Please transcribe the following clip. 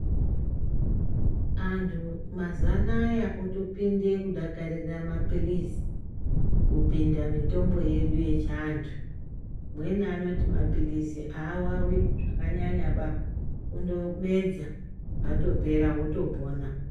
Antu mazuwa anaya otopinde kudakarire mapilizi kupinda mutombo yedu yechiantu mweni anoti mapilizi awawi zvakanyanyaba kundomedza atopera otopona.